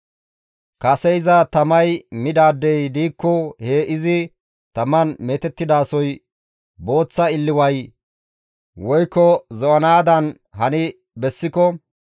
Kase iza tamay midaadey diikko he izi taman meetettidasoy booththa illiwa woykko zo7anaadan hani bessiko,